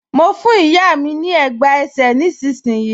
Mo fún ìyá mi ní ẹ̀gbá ẹsẹ̀ nísinsìnyí